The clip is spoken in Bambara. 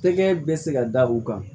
Tɛgɛ bɛ se ka da u kan